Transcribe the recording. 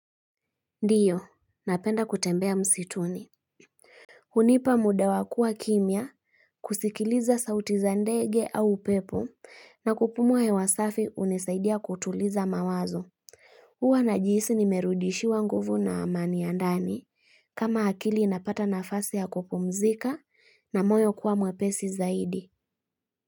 Ndiyo, napenda kutembea msituni. Hunipa muda wa kua kimya, kusikiliza sauti za ndege au upepo, na kupumua hewa safi hunisaidia kutuliza mawazo. Uwa najihisi nimerudishiwa nguvu na amani ya ndani, kama akili inapata nafasi ya kupumzika na moyo kuwa mwepesi zaidi.